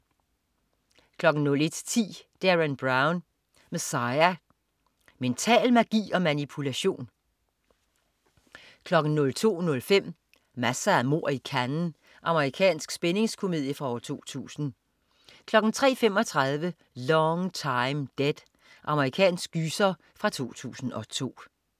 01.10 Derren Brown. Messiah. Mental magi og manipulation! 02.05 Masser af mord i Cannes. Amerikansk spændingskomedie fra 2000 03.35 Long Time Dead. Amerikansk gyser fra 2002